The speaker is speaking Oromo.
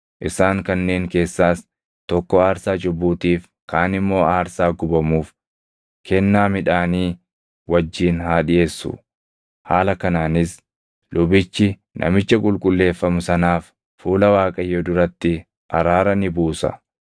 isaan kanneen keessaas tokko aarsaa cubbuutiif, kaan immoo aarsaa gubamuuf, kennaa midhaanii wajjin haa dhiʼeessu. Haala kanaanis lubichi namicha qulqulleeffamu sanaaf fuula Waaqayyoo duratti araara ni buusa.”